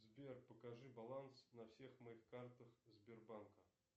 сбер покажи баланс на всех моих картах сбербанка